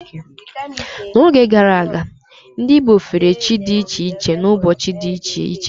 N'oge gara aga, ndị Igbo fere chi dị iche iche n'ụbọchị dị iche iche.